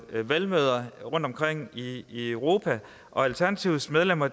valgmøder rundtomkring i i europa og alternativets medlemmer